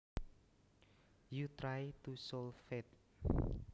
you try to solve it